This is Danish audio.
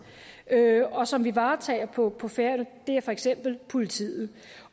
og som vi varetager på på færøerne det er for eksempel politiet